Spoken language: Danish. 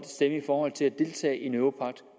stemme i forhold til at deltage i en europagt